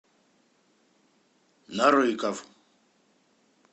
нарыков